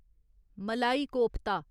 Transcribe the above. मलाई कोफ्ता